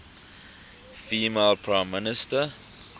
female prime minister